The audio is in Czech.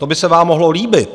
To by se vám mohlo líbit.